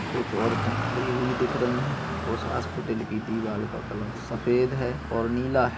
कुछ औरते खड़ी हुई दिख रही है उस हॉस्पिटल की दीवाल का कलर सफ़ेद है और नीला है।